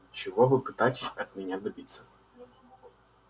чего вы пытаетесь от меня добиться